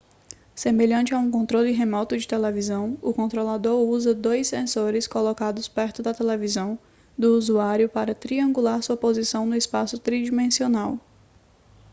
semelhante a um controle remoto de televisão o controlador usa dois sensores colocados perto da televisão do usuário para triangular sua posição no espaço tridimensional